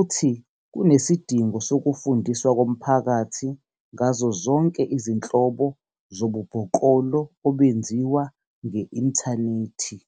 uthi kunesidingo sokufundiswa komphakathi ngazo zonke izinhlobo zobubhoklolo obenziwa nge-inthanethi.